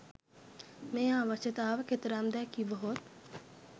මේ අවශ්‍යතාව කෙතරම්දැයි කිවහොත්